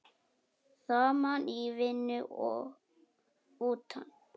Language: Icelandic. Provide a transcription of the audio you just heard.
Saman í vinnu og utan.